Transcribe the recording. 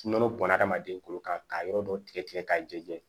Nɔnɔ bɔnna hadamaden kolo kan k'a yɔrɔ dɔ tigɛ k'a jɛ